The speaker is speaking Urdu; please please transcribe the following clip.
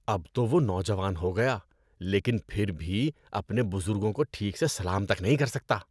اب تو وہ نوجوان ہو گیا لیکن پھر بھی اپنے بزرگوں کو ٹھیک سے سلام تک نہیں کر سکتا۔